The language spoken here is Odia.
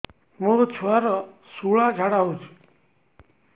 ମୋ ଛୁଆର ସୁଳା ଝାଡ଼ା ହଉଚି